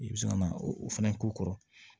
I bɛ se ka na o fana k'u kɔrɔ